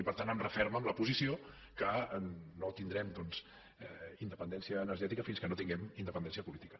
i per tant em referma en la posició que no tindrem doncs independència energètica fins que no tinguem independència política